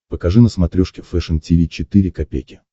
покажи на смотрешке фэшн ти ви четыре ка